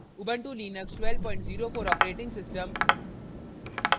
* ubuntu Linux 1204 os